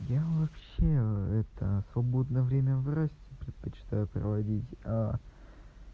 я вообще это свободное время в расте предпочитаю проводить а